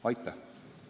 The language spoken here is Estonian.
Aitäh!